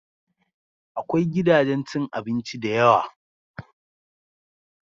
Akwai gidajen cin abinci da yawa